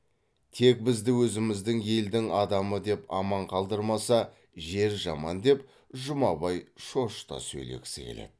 тек бізді өзіміздің елдің адамы деп аман қалдырмаса жер жаман деп жұмабай шошыта сөйлегісі келеді